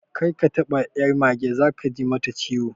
Kar ka taba ƴar mage, zaka ji mata ciwo